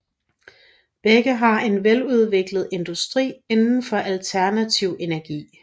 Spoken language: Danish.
Begge har en veludviklet industri inden for alternativ energi